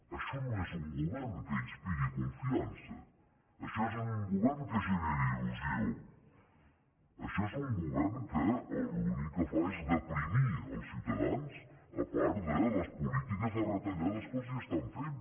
això no és un govern que inspiri confiança això no és un govern que generi il·lusió això és un govern que l’únic que fa és deprimir els ciutadans a part de les polítiques de retallades que els estan fent